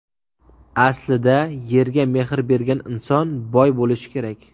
Aslida yerga mehr bergan inson boy bo‘lishi kerak.